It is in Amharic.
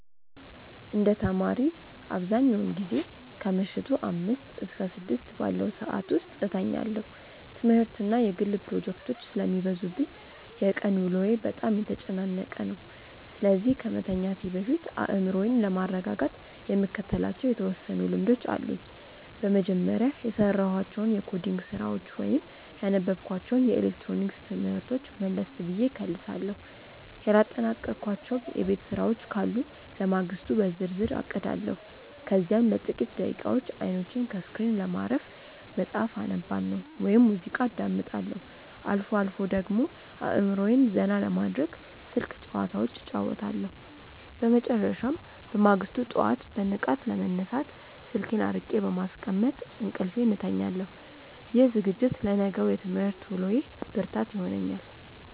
እንደ ተማሪ፣ አብዛኛውን ጊዜ ከምሽቱ አምስት እስከ ስድስት ባለው ሰዓት ውስጥ እተኛለሁ። ትምህርትና የግል ፕሮጀክቶች ስለሚበዙብኝ የቀን ውሎዬ በጣም የተጨናነቀ ነው፤ ስለዚህ ከመተኛቴ በፊት አእምሮዬን ለማረጋጋት የምከተላቸው የተወሰኑ ልምዶች አሉኝ። በመጀመሪያ፣ የሰራኋቸውን የኮዲንግ ስራዎች ወይም ያነበብኳቸውን የኤሌክትሮኒክስ ትምህርቶች መለስ ብዬ እከልሳለሁ። ያላጠናቀቅኳቸው የቤት ስራዎች ካሉ ለማግስቱ በዝርዝር አቅዳለሁ። ከዚያም ለጥቂት ደቂቃዎች አይኖቼን ከስክሪን ለማረፍ መጽሐፍ አነባለሁ ወይም ሙዚቃ አዳምጣለሁ። አልፎ አልፎ ደግሞ አእምሮዬን ዘና ለማድረግ ስልክ ጭዋታዎች እጫወታለሁ። በመጨረሻም፣ በማግስቱ ጠዋት በንቃት ለመነሳት ስልኬን አርቄ በማስቀመጥ እንቅልፌን እተኛለሁ። ይህ ዝግጅት ለነገው የትምህርት ውሎዬ ብርታት ይሆነኛል።